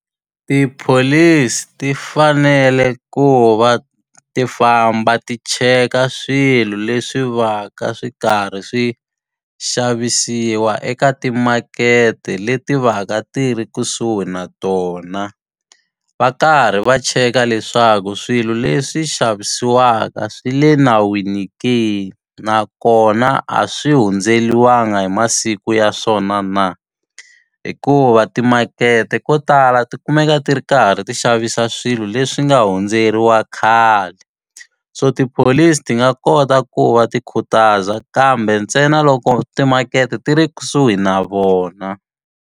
Tipholisi ti fanele ku va ti famba ti cheka swilo leswi va ka swi karhi swi xavisiwa eka timakete leti va ka ti ri kusuhi na tona. Va karhi va cheka leswaku swilo leswi xavisiwaka swi le nawini ke nakona a swi hundzeriwanga hi masiku ya swona na. Hikuva timakete ko tala ti kumeka ti ri karhi ti xavisa swilo leswi nga hundzeriwa khale. So tipholisi ti nga kota ku va ti khutaza kambe ntsena loko timakete ti ri kusuhi na vona.